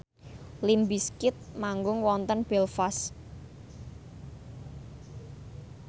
limp bizkit manggung wonten Belfast